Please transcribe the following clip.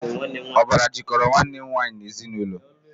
Ọbara jikọrọ Nwanne nwaanyị n'ezinụlọ